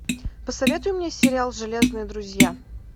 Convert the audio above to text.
посоветуй мне сериал железные друзья